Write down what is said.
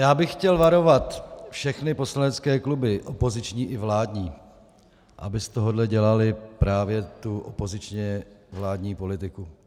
Já bych chtěl varovat všechny poslanecké kluby, opoziční i vládní, aby z tohoto dělali právě tu opozičně vládní politiku.